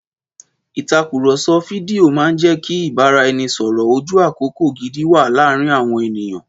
Ìtàkùrọ̀sọ fídíò máa ń jẹ́ kí ìbáraẹnisọ̀rọ̀ ojú àkókò gidi wà láàárín àwọn ènìyàn.